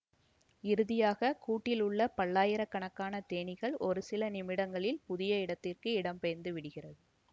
இறுதியாக கூட்டிலுள்ள பல்லாயிரக்கணக்கானத்தேனிக்கள் ஒருசில நிமிடங்களில் புதிய இடத்திற்கு இடம் பெயர்ந்து விடுகிறது